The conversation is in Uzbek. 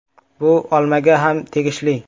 Bu olmaga ham tegishli.